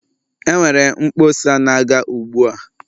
Enwere mkpọsa na-aga ugbua.